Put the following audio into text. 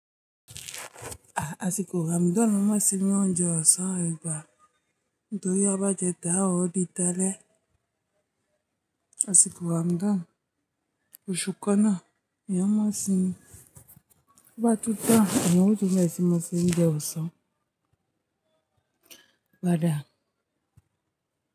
Ah, àsìkò Ramadan má sinmi oúnjẹ ọ̀sán ẹgbàá nítorí a bá jẹ táa, a ó di táálẹ̀. Àsìkò Ramadan, oṣù kan náà, mi ò mọ̀ sí i. Bá tutọ́, èèyàn kò sí tẹ́ẹ̀ sí má sinmi oúnjẹ ọ̀sán. Bada.